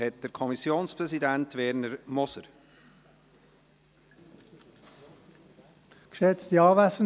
Der Kommissionspräsident Werner Moser hat das Wort.